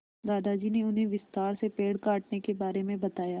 दादाजी ने उन्हें विस्तार से पेड़ काटने के बारे में बताया